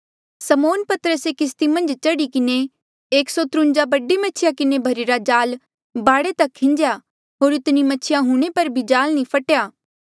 समौन पतरसे किस्ती मन्झ चढ़ी किन्हें एक सौ त्रुन्जा बडी मछिया किन्हें भर्ही रा जाल बाढे तक खीन्जेया होर इतनी मछिया हूंणे पर भी जाल नी फटेया